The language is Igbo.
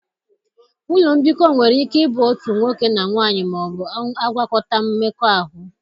Ụlọ mbikọ nwere ike ịbụ otu nwoke na nwanyị ma ọ bụ agwakọta-mmekọahụ.